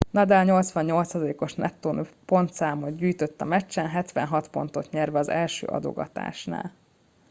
nadal 88%-os nettó pontszámot gyűjtött a meccsen 76 pontot nyerve az első adogatásnál